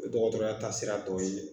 dɔgɔtɔrɔya taasira dɔw ye.